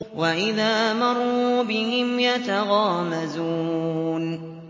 وَإِذَا مَرُّوا بِهِمْ يَتَغَامَزُونَ